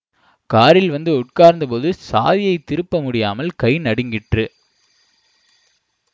காரில் வந்து உட்கார்ந்த போது சாவியைத் திருப்ப முடியாமல் கை நடுங்கிற்று